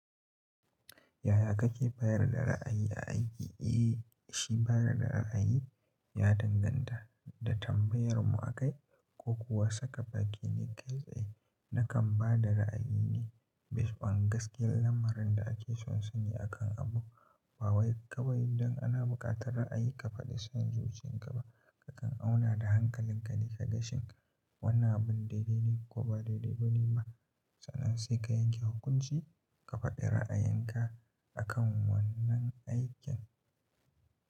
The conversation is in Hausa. Yaya kake bayar da ra'ayi a aiki? Eh, shi bayar da ra'ayi ya danganta da tambayarmu a kai, ko kuwa saka bakin ne kai tsaye. Nakan ba da ra'ayi ne bisa ga gaskiyar lamarin da ake son sani akan abu, ba wai kawai don ana buƙatar ra'ayi ka faɗi son zuciyan ka ba. Kakan auna da hankalin ka dika gashin wannan abun daidai ne ko ba daidai ba ne ma. Sannan sai ka yanke hukunci ka faɗi ra'ayenka akan wannan aikin.